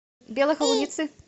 белой холуницы